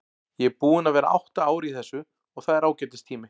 Ég er búinn að vera átta ár í þessu og það er ágætis tími.